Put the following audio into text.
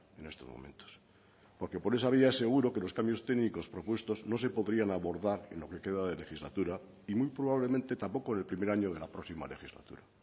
en estos momentos porque por esa vía seguro que los cambios técnicos propuestos no se podrían abordar en lo que queda de legislatura y muy probablemente tampoco en el primer año de la próxima legislatura